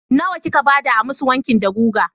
Nawa kika ba da a masu wanki da guga?